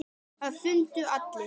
Það fundu allir.